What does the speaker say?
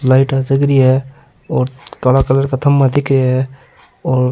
लाइटा जग रही है और काला कलर का खम्भा दिख रा है और --